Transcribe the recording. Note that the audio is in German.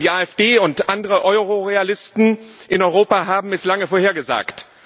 Denn die AfD und andere Euro Realisten in Europa haben es lange vorhergesagt.